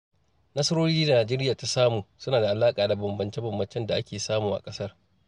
Nasarori da Nijeriya ta samu, suna da alaƙa da bambamce-bambamcen da ake samu a ƙasar.